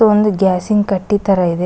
ಒಂದು ಗ್ಲಾಸಿನ್ ಕಟ್ಟಿ ತರ ಇದೆ.